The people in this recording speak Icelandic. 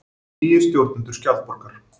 Nýir stjórnendur Skjaldborgar